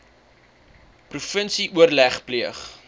provinsie oorleg pleeg